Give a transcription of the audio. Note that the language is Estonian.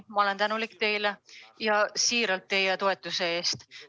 Ma olen teile siiralt tänulik teie toetuse eest.